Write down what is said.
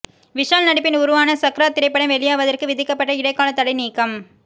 விஷால் நடிப்பில் உருவான சக்ரா திரைப்படம் வெளியாவதற்கு விதிக்கப்பட்ட இடைக்கால தடை நீக்கம்